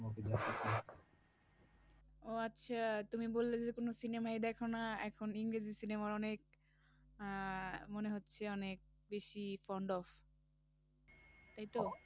ও আচ্ছা তুমি বললে যে কোন cinema ই দেখনা এখন ইংরেজি cinema র অনেক আহ মনে হচ্ছে অনেক বেশি তাইতো?